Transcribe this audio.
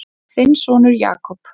Þinn sonur, Jakob.